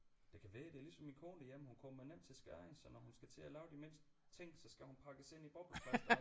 Det kan være det er ligesom min kone derhjemme hun kommer nemt til skade så når hun skal til at lave den mindste ting så skal hun pakkes ind i bobleplast